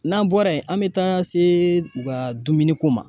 N'an bɔra yen ,an be taa se u ka dumuni ko ma.